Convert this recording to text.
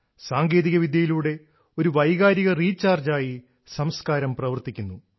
സാങ്കേതികവിദ്യയിലൂടെ ഒരു വൈകാരിക റീചാർജായി സംസ്കാരം പ്രവർത്തിക്കുന്നു